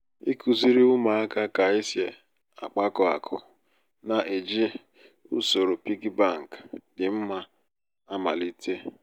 ikuziri ụmụaka ka esi akpakọ akụ na-eji usoro piggy bank um dị mma um amalite. um